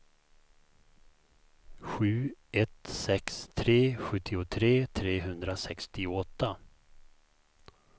sju ett sex tre sjuttiotre trehundrasextioåtta